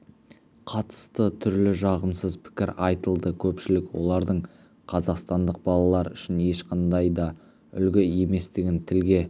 қатысты түрлі жағымсыз пікір айтылды көпшілік олардың қазақстандық балалар үшін ешқандай да үлгі еместігін тілге